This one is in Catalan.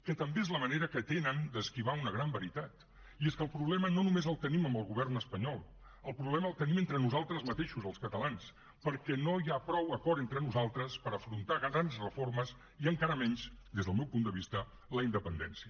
que també és la manera que tenen d’esquivar una gran veritat i és que el problema no només el tenim amb el govern espanyol el problema el tenim entre nosaltres mateixos els catalans perquè no hi ha prou acord entre nosaltres per afrontar grans reformes i encara menys des del meu punt de vista la independència